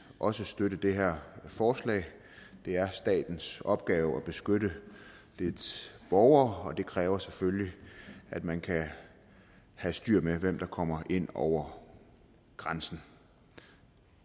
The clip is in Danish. også støtte det her forslag det er statens opgave at beskytte dens borgere og det kræver selvfølgelig at man kan have styr på hvem der kommer ind over grænsen